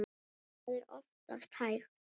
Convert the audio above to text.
Það er oftast hægt.